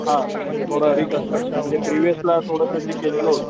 हा म्हणजे थोड रिकन्स्ट्रक्शन म्हणजे जे प्रिव्हियस ला थोडस केलेल होत,